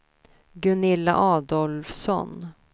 Gunilla Adolfsson